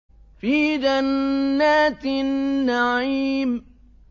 فِي جَنَّاتِ النَّعِيمِ